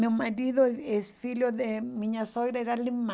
Meu marido é filho de minha sogra, era alemã.